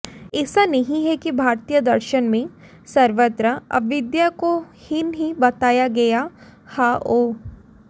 ऐसा नहीं है कि भारतीय दर्शन में सर्वत्र अविद्या को हीन ही बताया गया हओ